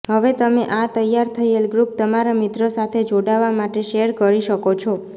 હવે તમે આ તૈયાર થયેલ ગ્રુપ તમારા મિત્રો સાથે જોડાવા માટે શેર કરી શકો છો